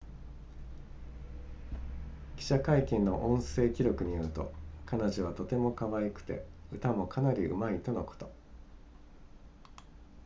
記者会見の音声記録によると、「彼女はとてもかわいくて、歌もかなり上手いとのこと」